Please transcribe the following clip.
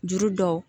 Juru dɔw